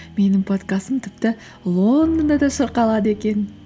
менің подкастым тіпті лондонда да шырқалады екен